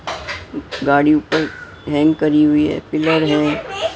गाड़ी ऊपर हैंग करी हुई है पिलर है।